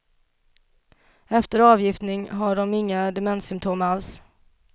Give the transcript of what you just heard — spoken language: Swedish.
Efter avgiftning har många inga demenssymptom alls.